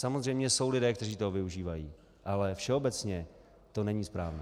Samozřejmě jsou lidé, kteří toho využívají, ale všeobecně to není správné.